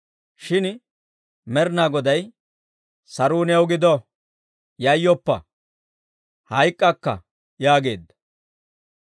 Shin Med'inaa Goday, «Saruu new gido! Yayyoppa! Hayk'k'akka» yaageedda.